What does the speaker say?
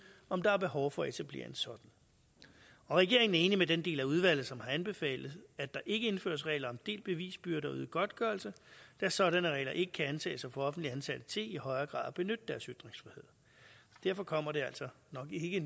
om der er behov for at etablere en sådan regeringen er enig med den del af udvalget som har anbefalet at der ikke indføres regler om delt bevisbyrde og øget godtgørelse da sådanne regler ikke kan antages at offentligt ansatte til i højere grad at benytte deres ytringsfrihed derfor kommer det altså nok ikke